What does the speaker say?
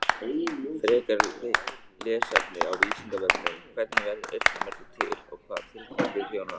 Frekara lesefni á Vísindavefnum: Hvernig verður eyrnamergur til og hvaða tilgangi þjónar hann?